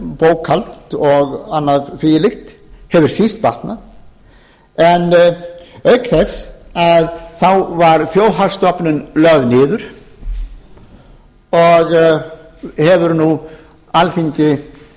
bókhald og annað því um líkt hefur síst batnað en auk þess var þjóðhagsstofnun lögð niður og hefur nú alþingi